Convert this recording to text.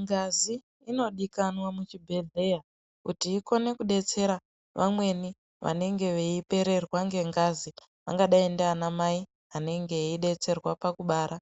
Ngazi inodikwana muchibhehleya kuti ikone detsera vamweni vanenge veipererwa ngengazi vangadei ndana mai vanenge veidetserwa pakubara